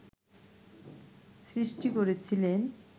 সৃষ্টি করেছিলেন